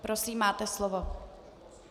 Prosím, máte slovo.